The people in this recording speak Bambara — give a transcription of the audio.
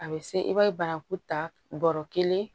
A bɛ se i b'a ye banaku ta bɔrɔ kelen